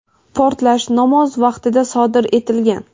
portlash namoz vaqtida sodir etilgan.